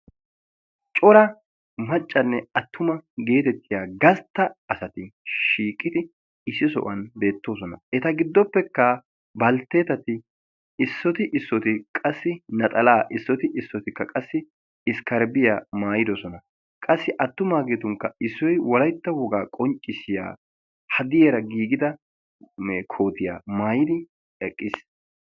Cora macanne atumma geetettiya gastta asatti shiiqiddi issi sohuwan beettsonna. Etta issoy issoy naxallanne sharbbiya maayidosonna.